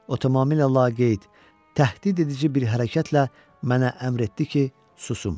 o tamamilə laqeyd, təhdidedici bir hərəkətlə mənə əmr etdi ki, susum.